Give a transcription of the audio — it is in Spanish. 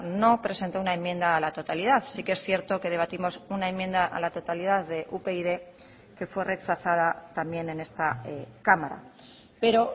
no presentó una enmienda a la totalidad sí que es cierto que debatimos una enmienda a la totalidad de upyd que fue rechazada también en esta cámara pero